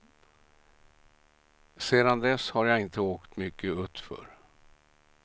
Sedan dess har jag inte åkt mycket utför.